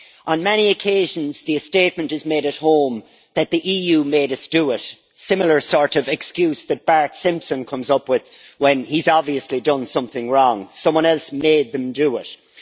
On many occasions, the statement is made at home that the EU made us do it', a similar sort of excuse that Bart Simpson comes up with when he has obviously done something wrong someone else made them do it'.